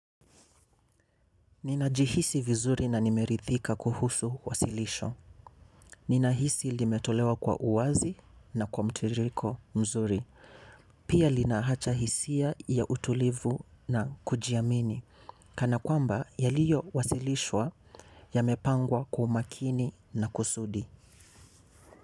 Ninajihisi vizuri na nimeridhika kuhusu wasilisho. Ninahisi limetolewa kwa uwazi na kwa mtiriko mzuri. Pia linahacha hisia ya utulivu na kujiamini. Kana yaliyowalishwa yamepangwa kwa makini na kusudi.